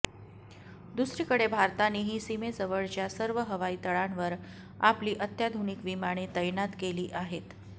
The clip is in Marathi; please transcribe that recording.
दुसरीकडे भारतानेही सीमेजवळच्या सर्व हवाई तळांवर आपली अत्याधुनिक विमाने तैनात केली आहेत